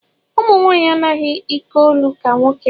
Ụmụnwaanyị anaghị ikeolu ka nwoke